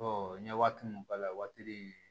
n ye waati mun k'a la waati